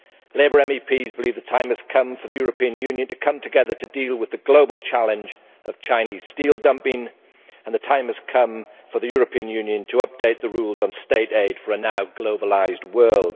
Labour MEPs believe the time has come for the European Union to come together to deal with the global challenge of Chinese steel dumping, and the time has come for the European Union to update the rules on state aid for a now globalised world.